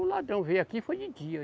O ladrão veio aqui e foi de dia.